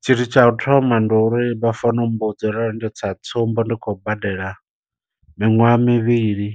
Tshithu tsha u thoma ndi uri vha fanela u mmbudza uri ndo sa tsumbo ndi khou badela miṅwaha mivhili